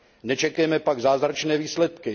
Nečekejme pak zázračné výsledky.